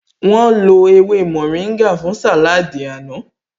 Wọ́n lo ewé mórìngà fún sàláádì àná